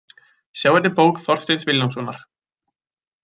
Sjá einnig bók Þorsteins Vilhjálmssonar.